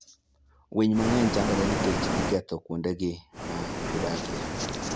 Winy mang'eny chandore nikech iketho kuondegi ma gidakie.